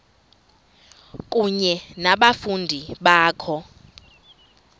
kunye nabafundi bakho